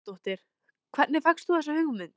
Helga Arnardóttir: Hvernig fékkstu þessa hugmynd?